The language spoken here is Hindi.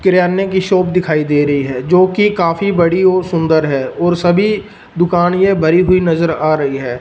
किराने की शॉप दिखाई दे रही है जो कि काफी बड़ी और सुंदर है और सभी दुकान ये भरी हुई नजर आ रही है।